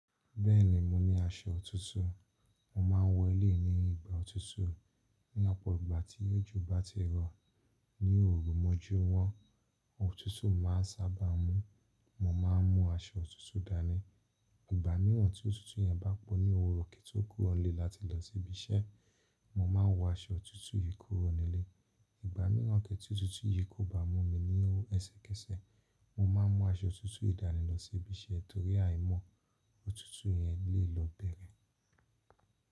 Bẹ́ẹ̀ni, mo ní aṣọ òtútù. Mo ma ń wọ eléyìí ní ìgbà òtútù. Ní ọ̀pọ̀ ìgbà tí òjò bá ti rọ, ní òru mọ́jumọ òtútù ma n sábà mú. Mo ma n mú aṣọ òtútù dání. Ìgbà míràn tí òtútù yẹn bá po ní òwúrọ̀ kí n tó kúrò ilé láti lọ síbi iṣẹ́, mo ma n wọ aṣọ òtútù yìí kúrò nílé. Ìgbà míràn tí òtútù yìí kò bá mú mi ẹsẹkẹsẹ, mo ma n mú aṣọ òtútù yìí dání lọ sí ibi iṣẹ́ torí àìmọ̀ òtútù yẹn lè lọ bẹ́rẹ́.